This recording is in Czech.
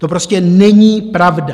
To prostě není pravda.